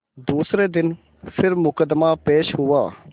दूसरे दिन फिर मुकदमा पेश हुआ